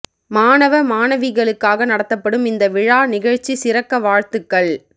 மாணவ மாணவிகளுக்காக நடத்தப்படும் இந்த விழா நிகழ்ச்சி சிறக்க வாழ்த்துக்கள்